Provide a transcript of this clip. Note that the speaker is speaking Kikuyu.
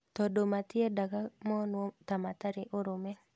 Tondũ matiendaga monwo ta matarĩ ũrũme